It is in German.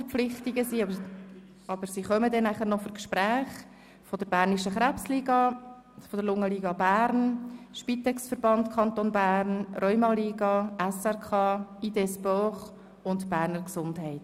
Deswegen sitzen heute bei uns Vertreter der bernischen Krebsliga, der Lungenliga Bern, des SpitexVerbands des Kantons Bern, der Rheumaliga, des SRK, der IdéeSport und der Berner Gesundheit.